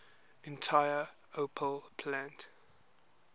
entire opel plant